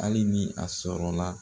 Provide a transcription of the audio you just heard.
Ali ni a sɔrɔla